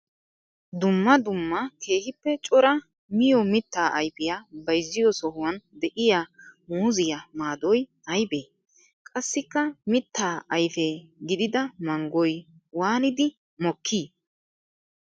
Dumma dumma keehippe cora miyo mitta ayfiya bayzziyo sohuwan de'iya muuziyaa maadoy aybbe? Qassikka mitta ayfe gididda manggoy waaniddi mokki?